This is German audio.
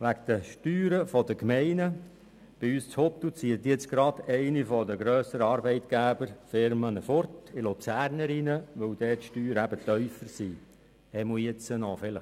Was die Gemeindesteuern betrifft, zieht aus Huttwil gerade einer der grösseren Arbeitgeber in den Kanton Luzern, weil die Steuern dort zumindest momentan noch tiefer sind.